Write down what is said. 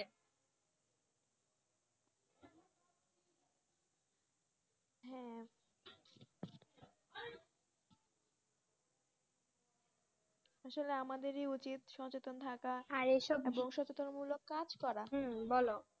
আসলে আমাদেরি উচিত সচেতন থাকা আবহাওযা সচেতন কাজ করা হু বলো